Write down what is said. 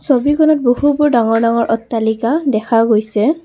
ছবিখনত বহুবোৰ ডাঙৰ ডাঙৰ অট্টালিকা দেখা গৈছে।